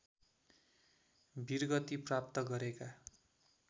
वीरगति प्राप्त गरेका